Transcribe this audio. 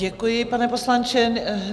Děkuji, pane poslanče.